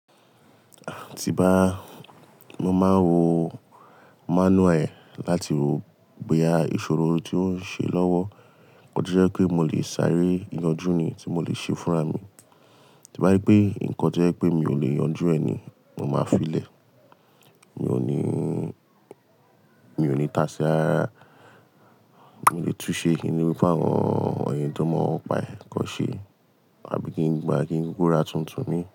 Tí bá, mo máa ń wo manual yẹn láti wo bóyá ìṣòro tí ó ń ṣe lọ́wọ́. Ọ̀ jẹ́ pé mo lè sáré yanjú ni tí mo lè ṣe fúnra mi. Tí bá rí pé nǹkan tó jẹ́ pé mi ò lè yanjú ẹ ni, mo máa filẹ̀. Mi ò ní, mi ò ní tasi rárárá, mò lè tú sé kí n ní kàwọn èèyàn tó mo ńpa e kan ṣe. Àbí kí n gbá kí n kuku ra tuntun mii.